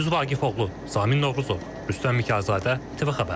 Gündüz Vaqifoğlu, Samin Novruzov, Rüstəm Mikayılzadə, TV xəbər.